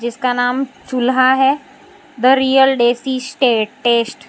जिसका नाम चूल्हा है the real desi state test --